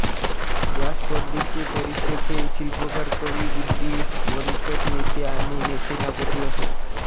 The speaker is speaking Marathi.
या स्पर्धांचे परीक्षक हे शिल्पकार कवी बुद्धिवंत नेते आणि सेनापती असत